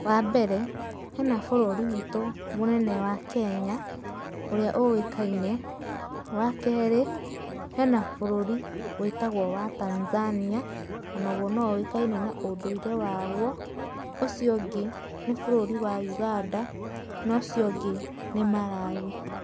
Wa mbere hena bũrũri witu mũnene wa Kenya ũrĩa ũikaine. Wa kerĩ hena bũrũri wĩtagwo wa Tanzania onaguo no ũĩkaine na ũndũire waguo. Ũcio ũngĩ nĩ bũrũri wa Uganda na ucio ũngĩ nĩ Malawi.